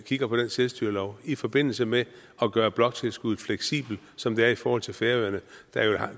kigger på den selvstyrelov i forbindelse med at gøre bloktilskuddet fleksibelt som det er i forhold til færøerne der